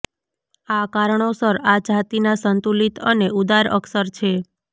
આ કારણોસર આ જાતિના સંતુલિત અને ઉદાર અક્ષર છે